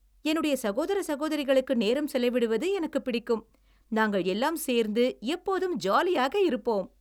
என்னுடைய சகோதர சகோதரிகளோடு நேரம் செலவிடுவது எனக்குப் பிடிக்கும். நாங்கள் எல்லாம் சேர்ந்து எப்போதும் ஜாலியாக இருப்போம்.